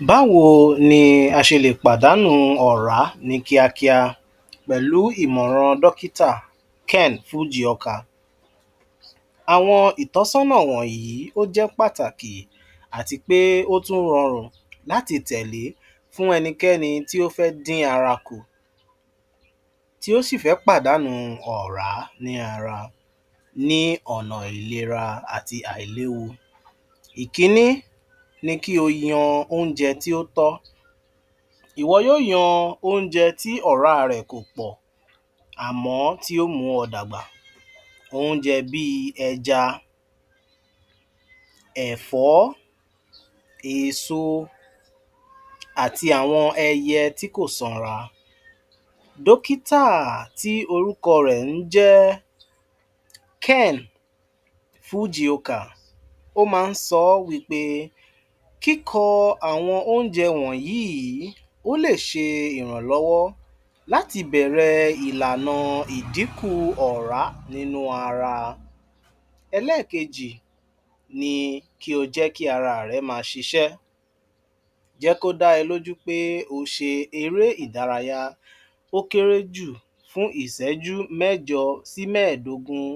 Báwo ni ásèlè pàdánù ọ̀rá ní kíá kíá pẹ̀lú ìmọ̀ràn Dọkítà, Ken Fujioka? Àwọn itọsọna wọnyi oje pataki atipe otun rọrun lati tele fun ẹnikẹni to fe din araku, ti osi fe padanu ọra ni ọna ilera ati ailewu. Ikini niki o yan onje tí otọ. Iwọ yo yan onje ti ọra rẹ kopọ, amọ tio mu ọ dagba. Onjẹ bi ẹja, ẹfọ, èso ati àwọn ẹyẹ tíkò sanra. Dọkítà ti orúko rẹ̀ njẹ Ken Fujioka, o ma nsọ wípé kikó àwọn ónjẹ wọ̀nyí olè se ìrànlọwọ láti bẹrẹ ìlànà ìdínkù ọ̀rá nínú ara. Ẹ̀lẹẹ̀kejì ni kí ojẹ ki ara rẹ̀ máa sisẹ. Jẹko dá ẹ lójú pé ose eré ìdárayá, ókéréjù fún ìsẹjú mẹjọ sí mẹẹ̀dógún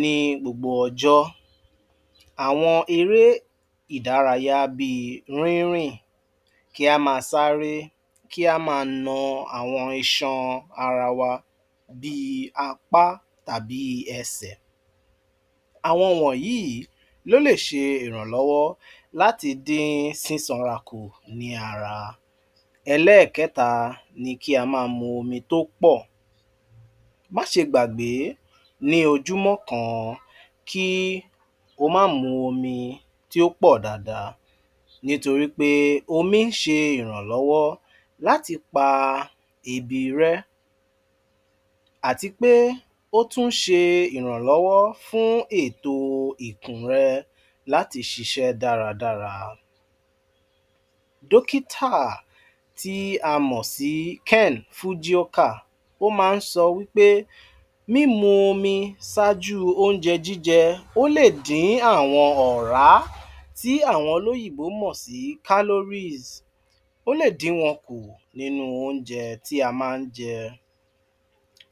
ni gbogbo ọjọ. Àwọn eré ìdárayá bi rínrìn, kí áma sáré, kí amaa na àwọn iṣan arawa, bii apá tabi ẹsẹ̀. Àwọn wọ̀nyí lóle se ìrànlọwọ láti din sísanra kù ní ara. Ẹlẹẹ̀keta ni kí amaa mu mi tópọ̀. Máse gbàgbé ní ojúmọ kan ki o máá mu omi tí yópọ̀ dáadáa. Nítorípé omí nse ìrànlọwọ láti pa ebi rẹ. Àtipé ótún nse ìrànlọwọ fún ètò ikùn re, láti sise dáradára. Dókità ti ámòsí ken Fujioka oma nsọ wípé, mímu omi sáájú, onjẹ jíje, óledín àwọn ọ̀rá ti àwọn olóyìnbó mọsí Caloris. Ó le dín wọn kù ninu ónjẹ ti amánjẹ.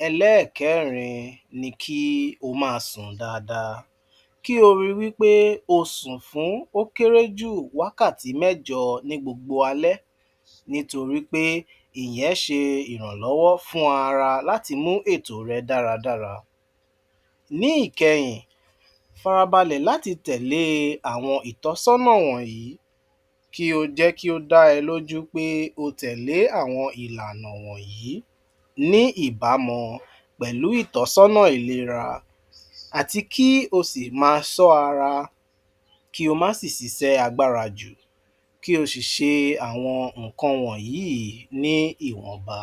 Ẹlẹẹ̀kerin ni kí omaa sùn dada. Kí ori wipe ó sùn fún ókéréjù wákàtí mẹjọ ni gbogbo alẹ, nítorípé ìyẹn se ìrànlọwọ fún ara, látimú ètò rè dáradàra. Ní ìkẹyìn, farabalẹ̀ láti tẹ̀lé àwon ìtọsọna wọ̀nyí kí o jẹ ki o dá ẹ lójú pé otẹ̀lé àwon ìlànà wọ̀nyí ni ìbámu pẹ̀lú itọsọna ìléra àti ki o si maa sọ ara, ki o mà sì sisẹ agbára jù. Kí o sì se àwọn nkan wọ̀nyí ni ìwọ̀nba.